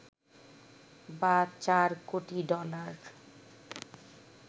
বা চার কোটি ডলার